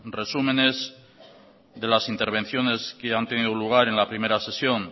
resúmenes de las intervenciones que han tenido lugar en la primera sesión